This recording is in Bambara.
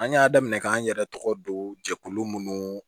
An y'a daminɛ k'an yɛrɛ tɔgɔ don jɛkulu munnu